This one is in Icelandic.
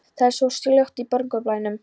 Það er allt svo hljótt í morgunblænum.